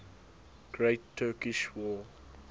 great turkish war